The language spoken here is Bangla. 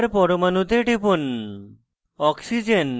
মুছে ফেলার পরমাণুতে টিপুন